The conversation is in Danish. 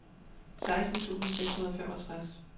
seksten tusind seks hundrede og femogtres